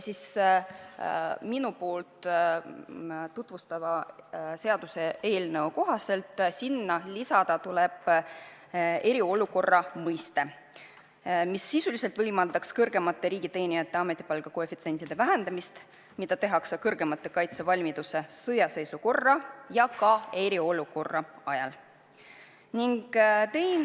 Minu poolt tutvustatava seaduseelnõu kohaselt tuleb sinna lisada eriolukord, mis sisuliselt võimaldaks kõrgemate riigiteenijate ametipalga koefitsientide vähendamist ka eriolukorra ajal.